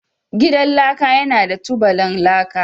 Gidan laka yana da tubalan laka